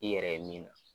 I yɛrɛ ye min